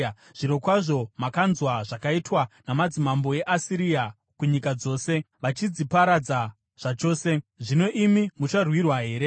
Zvirokwazvo makanzwa zvakaitwa namadzimambo eAsiria kunyika dzose, vachidziparadza zvachose. Zvino imi mucharwirwa here?